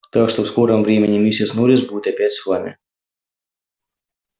так что в скором времени миссис норрис будет опять с вами